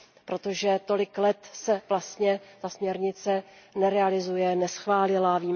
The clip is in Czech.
Protože tolik let se vlastně ta směrnice nerealizuje a neschválila se.